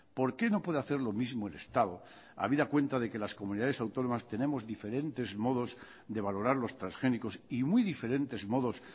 por qué no puede hacer lo mismo el estado a vida cuenta de que las comunidades autónomas tenemos diferentes modos de valorar los transgénicos y muy diferentes modos